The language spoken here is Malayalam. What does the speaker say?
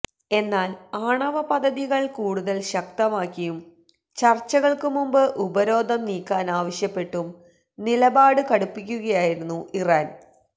എന്നാല് ആണവ പദ്ധതികള് കൂടുതല് ശക്തമാക്കിയും ചര്ച്ചകള്ക്കു മുമ്പ് ഉപരോധം നീക്കാനാവശ്യപ്പെട്ടും നിലപാട് കടുപ്പിക്കുകയയിരുന്നു ഇറാന്